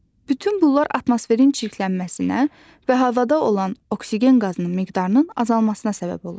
Bütün bunlar atmosferin çirklənməsinə və havada olan oksigen qazının miqdarının azalmasına səbəb olur.